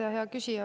Hea küsija!